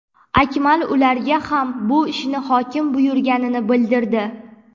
Akmal ularga ham bu ishni hokim buyurganini bildirdi.